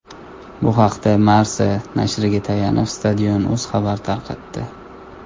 Bu haqda Marca nashriga tayanib Stadion.uz xabar tarqatdi.